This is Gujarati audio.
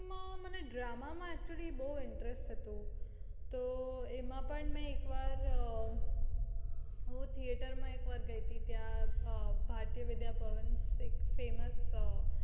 મને drama માં actually interest હતો એમાં પણ એક વાર theater માં ગઈ તી એક વાર ભરતી વિદ્યા ભવન famouse